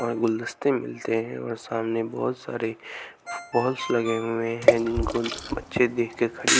और गुलदस्ते मिलते हैं और सामने बहुत सारे पोल्स लगे हुए हैं जिनको बच्चे देख के खड़ी--